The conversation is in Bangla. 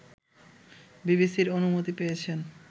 বিবিসির অনুমতি পেয়েছেন